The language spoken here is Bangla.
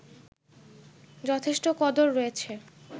যথেষ্ট কদর রয়েছে